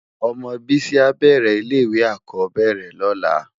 Òmò Bisi á bèrè ilè iwé ákòóbèrè lòlá